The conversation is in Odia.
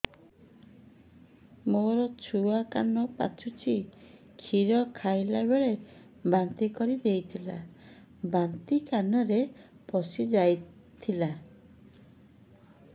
ମୋ ଛୁଆ କାନ ପଚୁଛି କ୍ଷୀର ଖାଇଲାବେଳେ ବାନ୍ତି କରି ଦେଇଥିଲା ବାନ୍ତି କାନରେ ପଶିଯାଇ ଥିଲା